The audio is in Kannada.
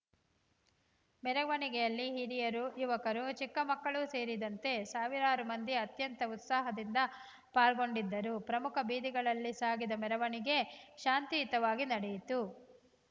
ಮೆರವಣಿಗೆಯಲ್ಲಿ ಹಿರಿಯರು ಯುವಕರು ಚಿಕ್ಕ ಮಕ್ಕಳು ಸೇರಿದಂತೆ ಸಾವಿರಾರು ಮಂದಿ ಅತ್ಯಂತ ಉತ್ಸಾಹದಿಂದ ಪಾಲ್ಗೊಂಡಿದ್ದರು ಪ್ರಮುಖ ಬೀದಿಗಳಲ್ಲಿ ಸಾಗಿದ ಮೆರವಣಿಗೆ ಶಾಂತಿಯುತವಾಗಿ ನಡೆಯಿತು